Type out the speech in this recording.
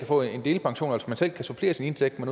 få en delpension hvor man altså selv kan supplere sin indtægt med